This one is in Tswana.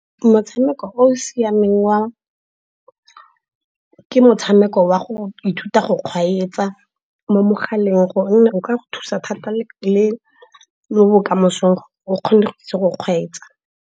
Motshameko o o siameng ke motshameko wa go ithuta go kgweetsa mo mogaleng, gonne o ka go thusa thata le mo bokamosong o kgone go itse go kgweetsa.